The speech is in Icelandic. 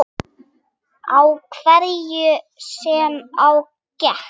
Á hverju sem á gekk.